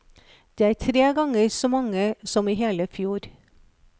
Det er tre ganger så mange som i hele fjor.